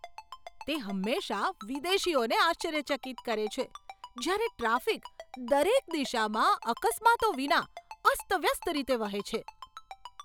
તે હંમેશાં વિદેશીઓને આશ્ચર્યચકિત કરે છે જ્યારે ટ્રાફિક દરેક દિશામાં અકસ્માતો વિના અસ્તવ્યસ્ત રીતે વહે છે.